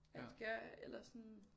At gøre eller sådan